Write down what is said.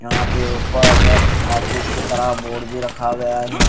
यहां पे ऊपर ऑफिस के तरह बोर्ड भी रखा गया यहां--